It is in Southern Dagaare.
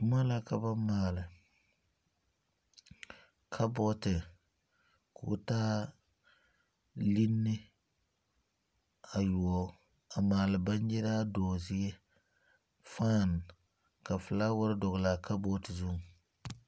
Boma la ka ba maale. Kabɔte, k'o taa liŋne ayoɔ. A maale bangyiraa doo zie, fan, ka fulaware dogle a kabɔte zu